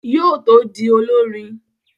Yóò tó di olọ́rin